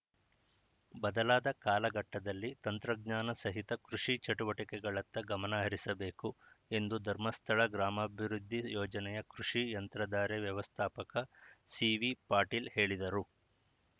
ಬದಲಾದ ಕಾಲಘಟ್ಟದಲ್ಲಿ ತಂತ್ರಜ್ಞಾನ ಸಹಿತ ಕೃಷಿ ಚಟುವಟಿಕೆಗಳತ್ತ ಗಮನ ಹರಿಸಬೇಕು ಎಂದು ಧರ್ಮಸ್ಥಳ ಗ್ರಾಮಾಭಿವೃದ್ಧಿ ಯೋಜನೆಯ ಕೃಷಿ ಯಂತ್ರಧಾರೆ ವ್ಯವಸ್ಥಾಪಕ ಸಿವಿಪಾಟೀಲ್‌ ಹೇಳಿದರು